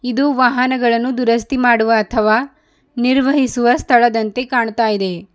ಇದು ವಾಹನಗಳನ್ನು ದುರಸ್ತಿ ಮಾಡುವ ಅಥವಾ ನಿರ್ವಹಿಸುವ ಸ್ಥಳದಂತೆ ಕಾಣುತ್ತಿದೆ.